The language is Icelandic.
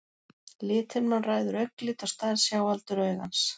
lithimnan ræður augnlit og stærð sjáaldurs augans